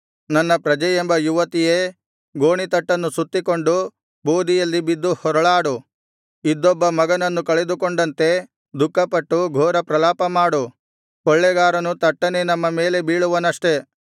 ನನ್ನ ಪ್ರಜೆಯೆಂಬ ಯುವತಿಯೇ ಗೋಣಿತಟ್ಟನ್ನು ಸುತ್ತಿಕೊಂಡು ಬೂದಿಯಲ್ಲಿ ಬಿದ್ದು ಹೊರಳಾಡು ಇದ್ದೊಬ್ಬ ಮಗನನ್ನು ಕಳೆದುಕೊಂಡಂತೆ ದುಃಖಪಟ್ಟು ಘೋರಪ್ರಲಾಪ ಮಾಡು ಕೊಳ್ಳೆಗಾರನು ತಟ್ಟನೆ ನಮ್ಮ ಮೇಲೆ ಬೀಳುವನಷ್ಟೆ